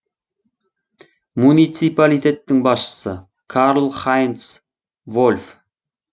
муниципалитеттің басшысы карл хайнц вольф